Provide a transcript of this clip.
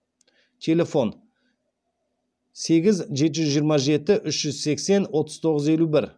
телефон сегіз жеті жүз жиырма жеті үш жүз сексен отыз тоғыз елу бір